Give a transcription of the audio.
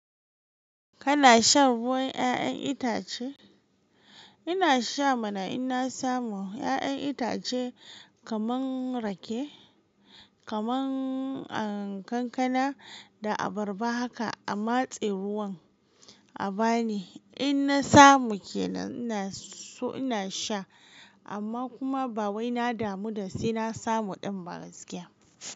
Kana shan ruwan 'ya'yan itace? Ina sha mana in na samu 'ya'yan itace kaman rake, kaman, ah, kankana da abarba haka a matse ruwan a bani. In na samu ke nan ina so ina sha amma kuma ba wai na damu da sai na samu ɗin ba gaskiya.